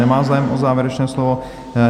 Nemá zájem o závěrečné slovo.